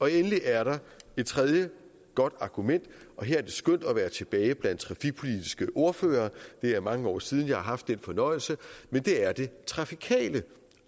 endelig er der et tredje godt argument og her er det skønt at være tilbage blandt trafikpolitiske ordførere det er mange år siden jeg har haft den fornøjelse og det er det trafikale